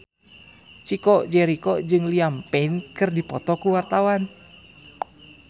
Chico Jericho jeung Liam Payne keur dipoto ku wartawan